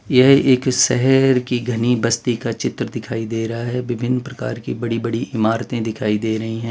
यह एक शहर की घनी बस्ती का चित्र दिखाई दे रहा है विभिन्न प्रकार की बड़ी बड़ी इमारतें दिखाई दे रही हैं।